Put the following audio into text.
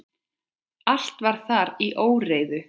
Allt var þar í óreiðu.